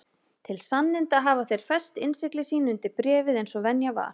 Til sanninda hafa þeir fest innsigli sín undir bréfið eins og venja var.